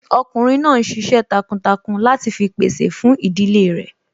Ọkùnrin náà n ṣiṣẹ́ takuntakun láti fi pèsè fún ìdílé rẹ̀